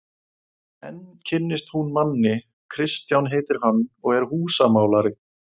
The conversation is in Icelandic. Enn kynnist hún manni, Kristján heitir hann og er húsamálari.